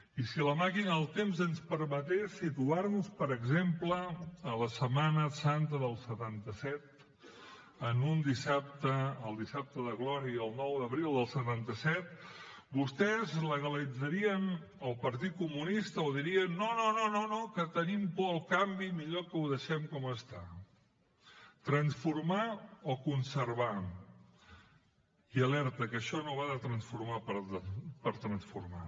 i si la màquina del temps ens permetés situar nos per exemple a la setmana santa del setanta set en un dissabte el dissabte de glòria el nou d’abril del setanta set vostès legalitzarien el partit comunista o dirien no no no que tenim por al canvi millor que ho deixem com està transformar o conservar i alerta que això no va de transformar per transformar